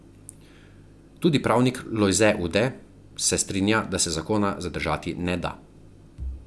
Tudi pravnik Lojze Ude se strinja, da se zakona zadržati ne da.